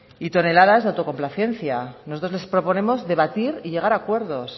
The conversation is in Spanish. y toneladas de autocomplacencia nosotros les proponemos debatir y llegar a acuerdos